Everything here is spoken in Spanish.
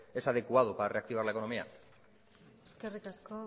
es adecuado para reactivar la economía eskerrik asko